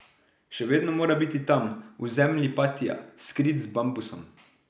Še vedno mora biti tam, v zemlji patia, skrit z bambusom.